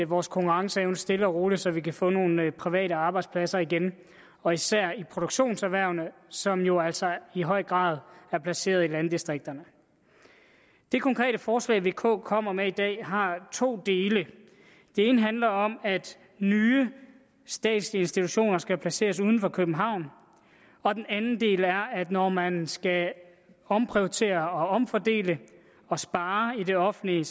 vores konkurrenceevne stille og roligt så vi kan få nogle private arbejdspladser igen og især i produktionserhvervene som jo altså i høj grad er placeret i landdistrikterne det konkrete forslag vk kommer med i dag har to dele den ene handler om at nye statslige institutioner skal placeres uden for københavn og den anden del er at når man skal omprioritere og omfordele og spare i det offentlige